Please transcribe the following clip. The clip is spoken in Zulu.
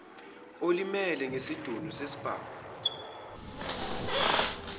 olimele ngesidunu sesibhamu